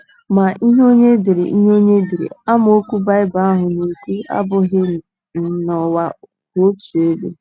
Ma, ihe onye dere ihe onye dere amaokwu Baịbụl ahụ na - ekwu abụghị um na ụwa kwụ otu ebe.